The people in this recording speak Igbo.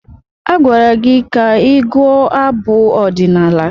Agwara gị ka ị gụọ abụ ọdịnala!